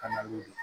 Ka na n'o ye